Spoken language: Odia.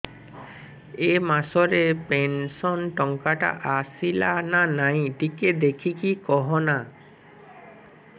ଏ ମାସ ରେ ପେନସନ ଟଙ୍କା ଟା ଆସଲା ନା ନାଇଁ ଟିକେ ଦେଖିକି କହନା